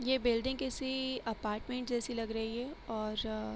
ये बिल्डिंग किसी अपार्टमेन्ट जैसी लग रही है और --